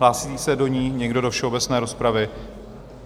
Hlásí se do ní někdo, do všeobecné rozpravy?